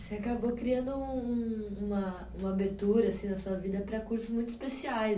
Você acabou criando um uma, uma abertura assim na sua vida para cursos muito especiais.